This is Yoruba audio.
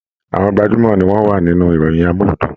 Àwọn gbajumọ ní wọn wà nínú ìròyìn amuludun.